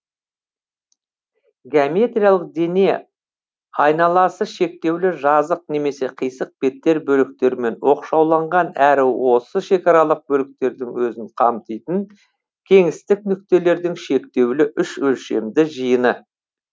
геометриялық дене айналасы шектеулі жазық немесе қисық беттер бөліктерімен оқшауланған әрі осы шекаралық бөліктердің өзін қамтитын кеңістік нүктелердің шектеулі үш өлшемді жиыны